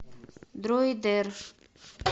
дроидер